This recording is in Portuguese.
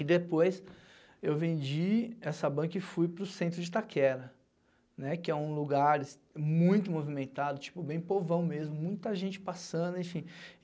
E depois eu vendi essa banca e fui para o centro de Itaquera, né, que é um lugar muito movimentado, tipo, bem povão mesmo, muita gente passando, enfim.